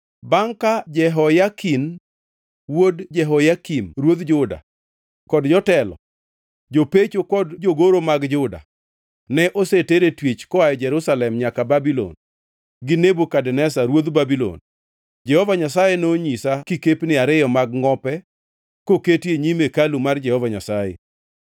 Bangʼ ka Jehoyakin wuod Jehoyakim ruodh Juda kod jotelo, jopecho kod jogoro mag Juda ne oseter e twech koa Jerusalem nyaka Babulon gi Nebukadneza ruodh Babulon, Jehova Nyasaye nonyisa kikepni ariyo mag ngʼope koketi e nyim hekalu mar Jehova Nyasaye.